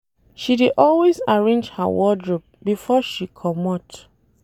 She dey always arrange her wardrope before she comot.